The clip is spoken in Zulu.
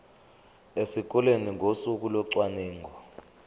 esikoleni ngosuku locwaningo